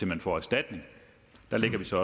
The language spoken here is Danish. man får erstatning der lægger vi så